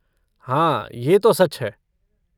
हाँ, ये तो सच है।